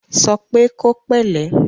Sọ pé kó pẹ̀lẹ́!